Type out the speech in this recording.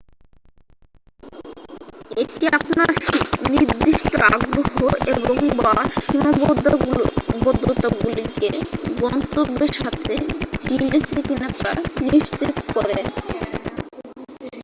এটি আপনার নির্দিষ্ট আগ্রহ এবং/বা সীমাবদ্ধতাগুলিকে গন্ত্যব্যের সাথে মিলেছে কিনা তা নিশ্চিত করে।